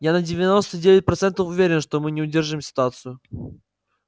я на девяносто девять процентов уверен что мы не удержим ситуацию